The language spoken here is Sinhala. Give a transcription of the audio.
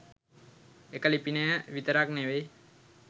එක ලිපිනය විතරක් නෙවෙයි